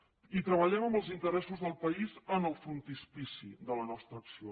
i treballem amb els interessos del país en el frontispici de la nostra acció